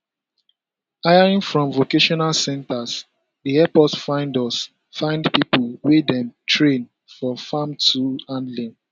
hiring from vocational centres dey help us find us find people wey dem train for farm tool handling